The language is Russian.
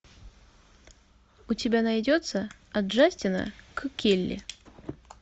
у тебя найдется от джастина к келли